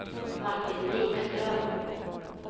Martin Vikström